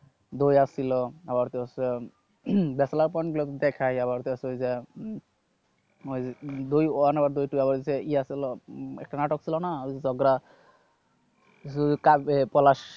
বউ আছিল আবারতো হচ্ছে দেখাই আবার হইতাছে যে ওই দুই ওয়ান এ দুইটা ইয়া ছিল, একটা নাটক ছিল না ওই যে ঝগড়া পলাশ